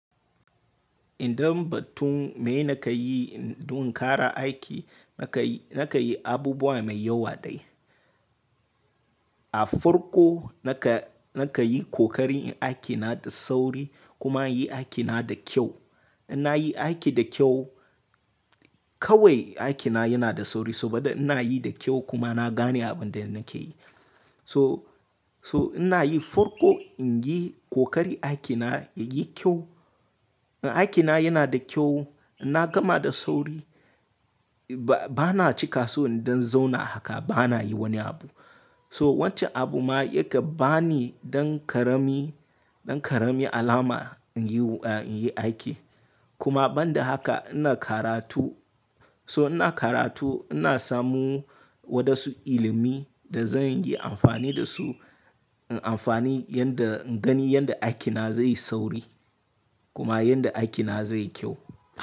Idan batun me na ka yi don ƙara aiki, na ka yi abubuwa mai yawa dai. A farko na ka yi kokari aiki na da sauri kuma na yi aiki na da kyau. In na yi aiki da kyau kawai aiki na yana da sauri saboda ina yi da kyau kuma na gane abin da nake yi. So ina yi farko in yi kokari aiki na ya yi kyau. In aiki na yana da kyau, ina gama da sauri. Ba na cika so don zauna haka, ba na yi wani abu. So wancan abu ma yake ba ni don ƙarami alama in yi aiki. Kuma ban da haka ina karatu. So ina karatu ina samu wadansu ilimi da zan iya amfani da su, in amfani yanda in gani yanda aiki na zai yi sauri kuma yanda aiki na zai yi kyau.